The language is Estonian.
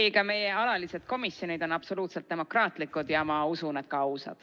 Ei, ka meie alalised komisjonid on absoluutselt demokraatlikud ja ma usun, et ka ausad.